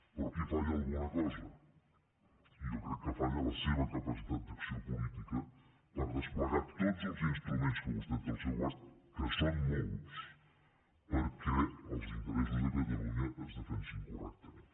però aquí falla alguna cosa jo crec que falla la seva capacitat d’acció política per desplegar tots els instruments que vostè té al seu abast que són molts perquè els interessos de catalunya es defensin correctament